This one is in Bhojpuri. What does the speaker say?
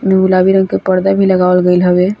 गुलाबी रंग का पर्दा भी लगावल गेल हवे।